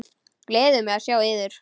Gleður mig að sjá yður.